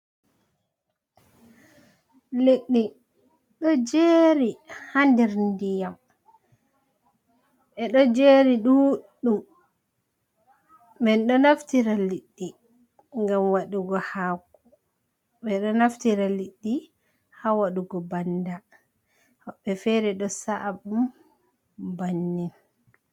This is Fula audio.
Leɗɗe ɗo jeri ha nɗer nɗiyam. Be ɗo jeri ɗuuɗɗum. Min do naftira liɗɗi ngam waɗugo hako. Beɗo naftira liɗɗi ha waɗugo banɗa. Wobbe fere ɗo sa'abu bannin.